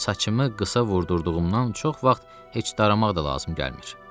Saçımı qısa vurdurduğumdan çox vaxt heç daramaq da lazım gəlmir.